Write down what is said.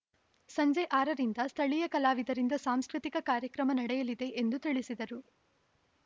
ಸಂಜೆ ಆರರಿಂದ ಸ್ಥಳೀಯ ಕಲಾವಿದರಿಂದ ಸಾಂಸ್ಕೃತಿಕ ಕಾರ್ಯಕ್ರಮ ನಡೆಯಲಿದೆ ಎಂದು ತಿಳಿಸಿದರು